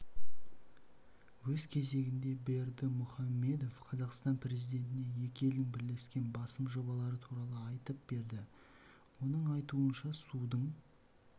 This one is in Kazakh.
өз кезегінде бердымухамедов қазақстан президентіне екі елдің бірлескен басым жобалары туралы айтып берді оның айтуынша судың